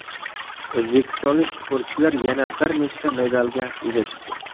O‘zbekistonlik sportchilar yana bir nechta medalga ega chiqdi.